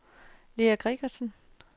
Lea Gregersen